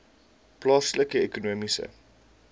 plaaslike ekonomiese